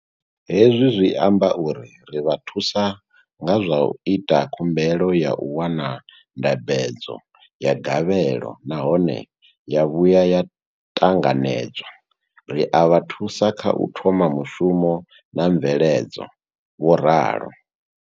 Hezwi zwi amba uri ri vha thusa nga zwa u ita khumbelo ya u wana ndambedzo ya gavhelo nahone ya vhuya ya ṱanganedzwa, ri a vha thusa kha u thoma mushumo na mveledzo, vho ralo.